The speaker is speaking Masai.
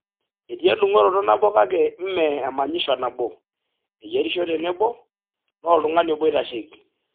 Etii edungo`oroto nabo kake mme emanyisho nabo, eyierisho tenebo, naa oltung`ani obo oitasheki.